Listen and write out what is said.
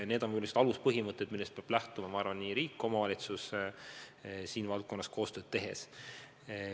Need on aluspõhimõtted, millest peavad lähtuma, ma arvan, nii riik kui ka omavalitsused selles valdkonnas koostööd tehes.